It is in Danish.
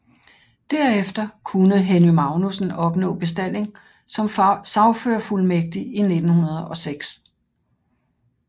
Derefter kunne Henny Magnussen opnå bestalling som sagførerfuldmægtig i 1906